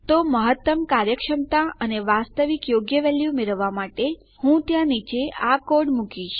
તો મહત્તમ કાર્યક્ષમતા અને વાસ્તવિક યોગ્ય વેલ્યુ મેળવવા માટે હું ત્યાં નીચે આ કોડ મૂકીશ